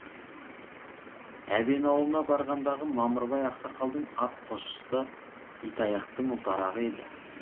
әбен аулына барғандағы мамырбай ақсақалдың ат қосшысы итаяқтың ұлтарағы еді